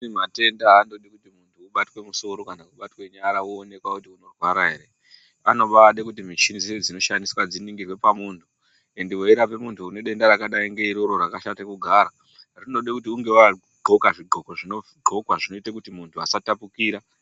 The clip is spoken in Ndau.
Amweni matenda aambodi kuti muntu ubatwe musoro kana kubatwe nyara woonekwa kuti unorwara here anobaa noda mishini dziya dzinoshandiswa dziningirwe pamuntu, ende weirape muntu une denda rakadai ngeiroro rakashate kugara rinode kuti unge wakaqhoka zvigqoko zvinoqhokwa zvinoite kuti muntu asatapukira.